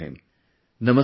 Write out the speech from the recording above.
Let's talk to him